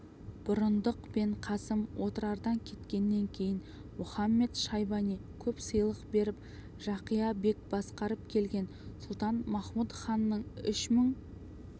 бұрындық пен қасым отырардан кеткеннен кейін мұхамед-шайбани көп сыйлық беріп жақия бек басқарып келген сұлтан-махмұд ханның үш мың